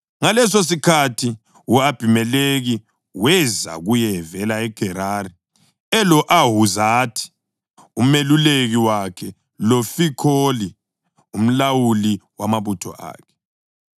Ngalesosikhathi u-Abhimelekhi weza kuye evela eGerari, elo-Ahuzathi umeluleki wakhe loFikholi umlawuli wamabutho akhe.